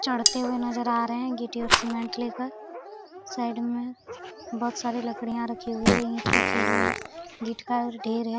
चढ़ते हुए नज़र आ रहे है गिट्टी और सीमेंट ले कर साइड में बहुत सारी लकड़ियाँ रखी हुई है ईंट रखे हुई है गीठ का ढेर है।